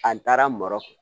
An taara mɔrɔkɔnɔ